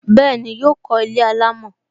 Bẹẹni, yọ kó ilé alámò